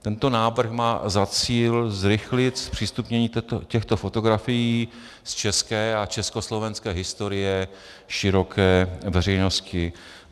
Tento návrh má za cíl zrychlit zpřístupnění těchto fotografií z české a československé historie široké veřejnosti.